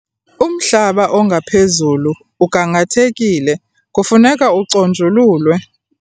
Umhlaba ongaphezulu ugangathekile kufuneka uconjululwe.